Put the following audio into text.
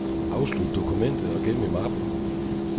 Afslut dokumentet og gem i mappen.